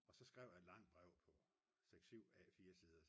og så skrev jeg et langt brev på 6-7 A4-sider